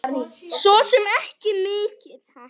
Svo sem ekki mikið.